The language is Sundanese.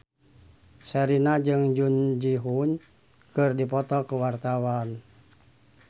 Sherina jeung Jun Ji Hyun keur dipoto ku wartawan